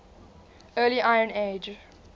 early iron age